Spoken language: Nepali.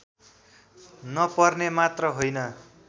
नपर्ने मात्र होइन